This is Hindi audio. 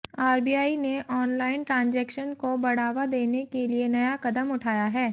आरबीआई ने आॅनलाइन ट्रांजेक्शन को बढ़ावा देने के लिए नया कदम उठाया है